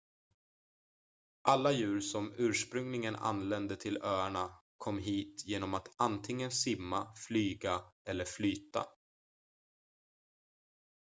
alla djur som ursprungligen anlände till öarna kom hit genom att antingen simma flyga eller flyta